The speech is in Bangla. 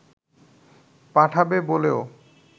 পাঠাবে বলেও